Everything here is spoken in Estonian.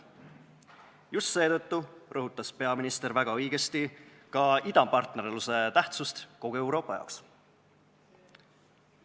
Just seetõttu rõhutas peaminister väga õigesti ka idapartnerluse tähtsust kogu Euroopa jaoks.